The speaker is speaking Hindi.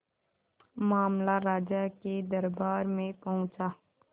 मामला राजा के दरबार में पहुंचा